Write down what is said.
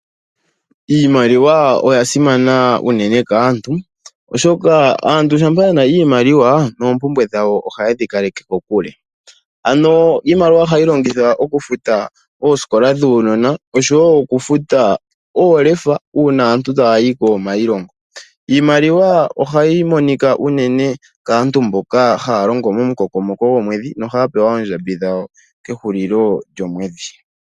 Iimaliwa oya simana unene kaantu, oshoka aantu shampa yena iimaliwa noompumbwe dhawo ohaye dhi kaleke kokule. Ano iimaliwa ohayi longithwa okufuta oosikola dhuunona oshowo okufuta oolefa uuna aantu taya yi kiilonga. Iimaliwa ohayi monika uunene kaantu mboka haya longo momukokomoko gomwedhi nohaya pewa oondjambi dhawo kehulilo lyomwedhi.